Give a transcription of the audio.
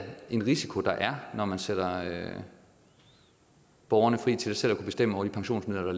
en risiko når man sætter borgerne fri til selv at kunne bestemme over de pensionsmidler